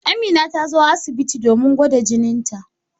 Amina ta zo asibiti domin a gwada jinita.